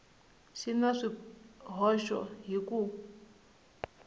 xi na swihoxo hi ku